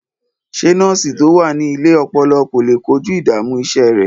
Ṣé nọ́ọ̀sì tó wà ní ilé ọpọlọ kò lè kojú ìdààmú iṣẹ́ rẹ̀?